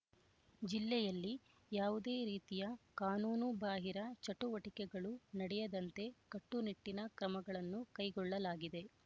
ಜಿಲ್ಲೆಯಲ್ಲಿ ಯಾವುದೇ ರೀತಿಯ ಕಾನೂನು ಬಾಹಿರ ಚಟುವಟಿಕೆಗಳು ನಡೆಯದಂತೆ ಕಟ್ಟುನಿಟ್ಟಿನ ಕ್ರಮಗಳನ್ನು ಕೈಗೊಳ್ಳಲಾಗಿದೆ